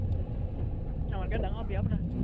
আমাতকে ডাঙৰ, বিয়া পতাা